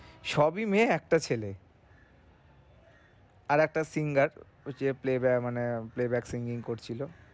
সবই মেয়ে একটা ছেলে আরেকটা singer ঐযে playboy playback singing করছিলো